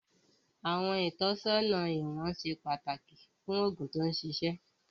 Àwọn ìtọ́sọ́nà ìwọ̀n ìwọ̀n ṣe pàtàkì fún òògùn tó ṣiṣẹ́.